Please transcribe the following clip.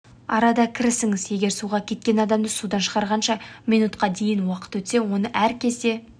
арада кірісіңіз егер суға кеткен адамды судан шығарғанша минутқа дейін уақыт өтсе оны әр кезде